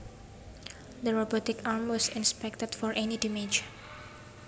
The robotic arm was inspected for any damage